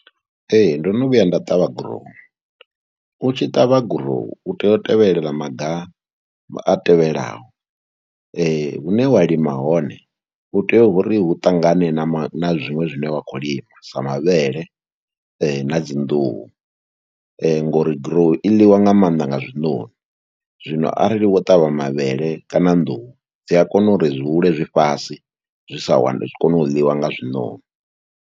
Ee, ndo no vhuya nda ṱavha gurowu, u tshi ṱavha gurowu u tea u tevhelela maga a tevhelaho, hune wa lima hone u tea uri hu ṱangane na ma na zwiṅwe zwine wa khou lima sa mavhele na dzi nḓuhu ngori gurowu i ḽiwa nga maanḓa nga zwinoni. Zwino arali wo ṱavha mavhele kana nḓuhu dzi a kona uri zwi hule zwi fhasi zwi sa wani, ndi kone u ḽiwa nga zwinoni.